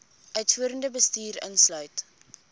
uitvoerende bestuur insluit